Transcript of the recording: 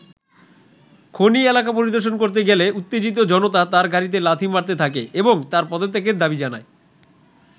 খনি এলাকা পরিদর্শন করতে গেলে উত্তেজিত জনতা তাঁর গাড়িতে লাথি মারতে থাকে এবং তার পদত্যাগের দাবি জানায়।